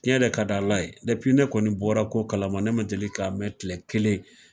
Tiɲɛ de ka d' Ala ye kabini ne kɔni bɔla ko kalama ne ma deli ka mɛn kile kelen.